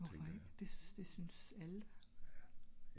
hvorfor ik? det synes alle da?